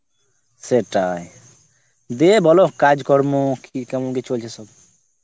সেটাই, দিয়ে বলোহঃ কাজ কর্ম কি কেমন কি চলছে শুনি